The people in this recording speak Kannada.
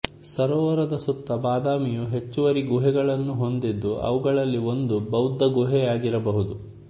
ಸರೋವರದ ಸುತ್ತ ಬಾದಾಮಿಯು ಹೆಚ್ಚುವರಿ ಗುಹೆಗಳನ್ನು ಹೊಂದಿದ್ದು ಅವುಗಳಲ್ಲಿ ಒಂದು ಬೌದ್ಧ ಗುಹೆಯಾಗಿರಬಹುದು